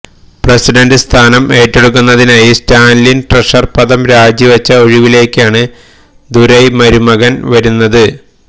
president സ്ഥാനം ഏറ്റെടുക്കുന്നതിനായി Stalin treasurer പദം രാജി വച്ച ഒഴിവിലേക്കാണ് ദുരൈ മുരുകൻ വരുന്നത്